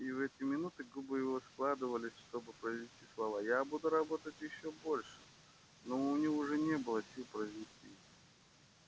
и в эти минуты губы его складывались чтобы произнести слова я буду работать ещё больше но у него уже не было сил произнести их